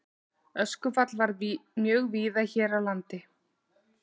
Öskufall varð mjög víða hér á landi.